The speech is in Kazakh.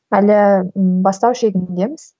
әлі ммм бастау шегіндеміз